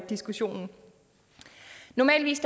diskussionen normalt